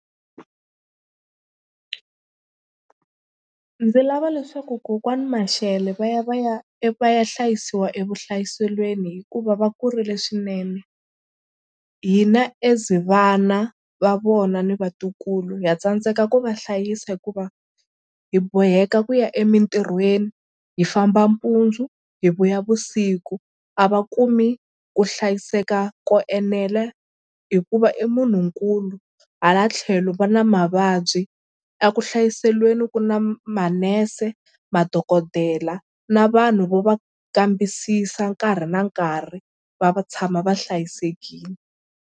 Ndzi lava leswaku kokwani Mashele va ya va ya va ya hlayisiwa evuhlayiselweni hikuva va kurile swinene hina as vana va vona ni vatukulu ha tsandzeka ku va hlayisa hikuva hi boheka ku ya emitirhweni hi famba mpundzu hi vuya vusiku a va kumi ku hlayiseka ko enela hikuva i munhunkulu hala tlhelo va na mavabyi. A ku hlayiselweni ku na manese madokodela na vanhu vo va kambisisa nkarhi na nkarhi va tshama va hlayisekile.